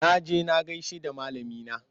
Na he na gaishe da malamina.